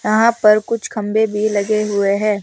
यहां पर कुछ खंभे भी लगे हुए हैं।